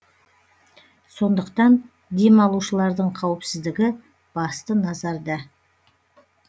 сондықтан демалушылардың қауіпсіздігі басты назарда